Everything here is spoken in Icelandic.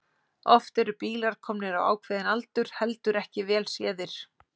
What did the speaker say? Oft eru bílar komnir á ákveðinn aldur heldur ekki vel séðir.